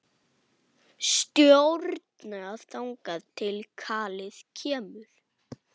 Stjórna þangað til kallið kemur.